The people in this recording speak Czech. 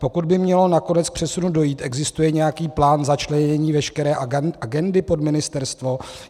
Pokud by mělo nakonec k přesunu dojít, existuje nějaký plán začlenění veškeré agendy pod ministerstvo?